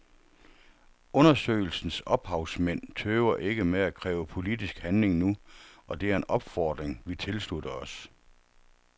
Undersøgelsens ophavsmænd tøver ikke med at kræve politisk handling nu, og det er en opfordring vi tilslutter os.